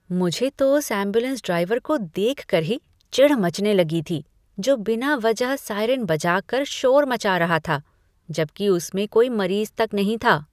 मुझे तो उस एंबुलेंस ड्राइवर को देखकर ही चिढ़ मचने लगी जो बिना वजह साइरन बजाकर शोर मचा रहा था, जबकि उसमें कोई मरीज़ तक नहीं था।